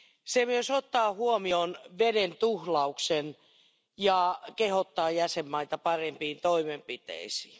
Se myös ottaa huomioon veden tuhlauksen ja kehottaa jäsenmaita parempiin toimenpiteisiin.